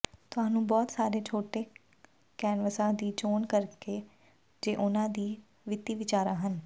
ਤੁਹਾਨੂੰ ਬਹੁਤ ਸਾਰੇ ਛੋਟੇ ਕੈਨਵਸਾਂ ਦੀ ਚੋਣ ਕਰਨਗੇ ਜੇ ਉਨ੍ਹਾਂ ਦੀ ਵਿੱਤੀ ਵਿਚਾਰਾਂ ਹਨ